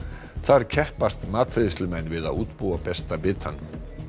þar keppast matreiðslumenn við að útbúa besta bitann